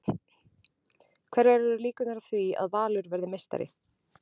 Hverjar eru líkurnar á því að Valur verði meistari?